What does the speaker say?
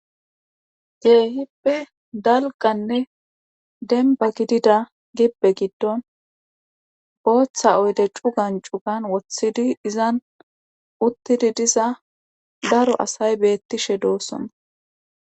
keehippe dalganne denba gidida gibbe giddon booththa oyde cugan cugan wothidi izan uttidi diza daro asay beettishe doossona.